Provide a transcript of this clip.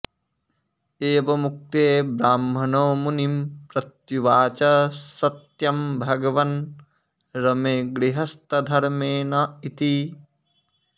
एवमुक्ते ब्राह्मणो मुनिं प्रत्युवाच सत्यं भगवन् रमे गृहस्थधर्मेण इति